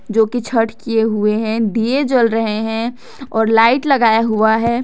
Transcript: जो की छठ किए हुए हैं दिए जल रहे हैं और लाइट लगाया हुआ है।